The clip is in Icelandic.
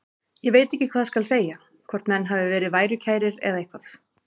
Ég veit ekki hvað skal segja, hvort menn hafi verið værukærir eða eitthvað.